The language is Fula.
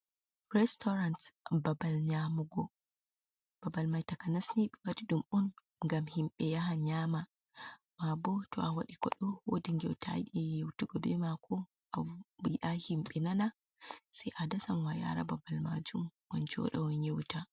Restorant, babal nyamugo, babal mai takanasni ɓewadi ɗum on ngam himɓe yahata nyama, mabo to a waɗi koɗo wodi ngewta ayidi yeutugo bemako, ayiɗa himɓe nana sai adasamo ayaramo babal majum on joɗa on yewta.